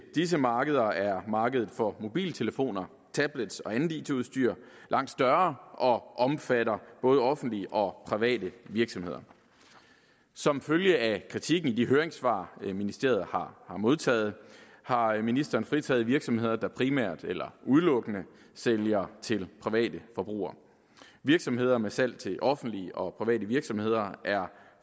disse markeder er markedet for mobiltelefoner tablets og andet it udstyr langt større og omfatter både offentlige og private virksomheder som følge af kritikken i de høringssvar ministeriet har modtaget har har ministeren fritaget virksomheder der primært eller udelukkende sælger til private forbrugere virksomheder med salg til offentlige og private virksomheder er